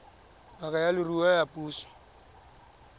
ngaka ya leruo ya puso